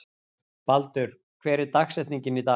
Baldur, hver er dagsetningin í dag?